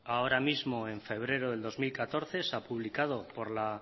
ahora mismo en febrero de dos mil catorce se ha publicado por la